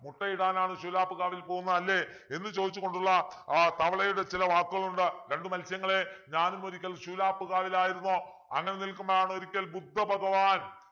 മുട്ടയിടാനാണ് ശൂലാപ്പ്‌കാവിൽ പോവുന്നത് അല്ലെ എന്ന് ചോദിച്ചു കൊണ്ടുള്ള ആഹ് തവളയുടെ ചില വാക്കുകളുണ്ട് രണ്ടു മത്സ്യങ്ങളെ ഞാനും ഒരിക്കൽ ശൂലാപ്പ് കാവിലയിരുന്നു അങ്ങനെ നിൽക്കുമ്പോളാണൊരിക്കൽ ബുദ്ധ ഭഗവാൻ